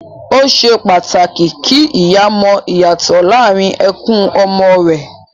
Ó ṣe pàtàkì kí ìyá mọ ìyàtọ̀ láàrín ẹkún ọmọ rẹ